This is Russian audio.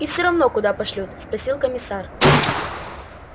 и всё равно куда пошлют спросил комиссар